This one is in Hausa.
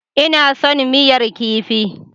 Ina son miyar kifi.